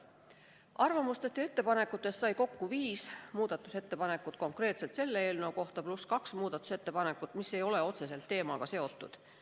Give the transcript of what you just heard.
Arvamuste ja ettepanekute põhja saadi viis muudatusettepanekut konkreetselt selle eelnõu kohta ja lisaks kaks sellist muudatusettepanekut, mis ei ole otseselt selle teemaga seotud.